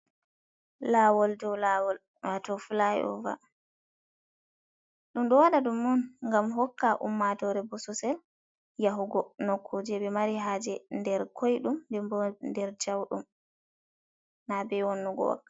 Laawol dou laawol, wato filayi ova, ɗum ɗo waɗa ɗum on gam hokka ummatoore bosesel yahugo nokkure ɓe mari haaje nder koiɗum denbo nder jauɗum, na be wonnugo wakkati.